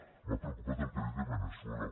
m’ha preocupat el que ha dit de veneçuela